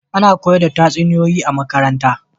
A na koyar da tatsuniyoyi a makaranta